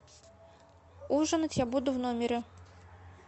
ужинать я буду в номере